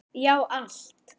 Já, allt.